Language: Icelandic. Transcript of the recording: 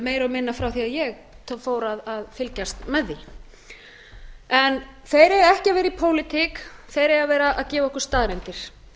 meira og minna frá því að ég fór að fylgjast með því en þeir eiga ekki að vera í pólitík þeir eiga að vera að gefa okkur staðreyndir